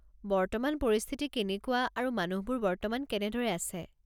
বৰ্তমান পৰিস্থিতি কেনেকুৱা আৰু মানুহবোৰ বৰ্তমান কেনেদৰে আছে।